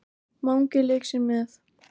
Mangi lék sér með.